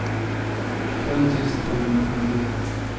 fem tusen femhundrafemtioett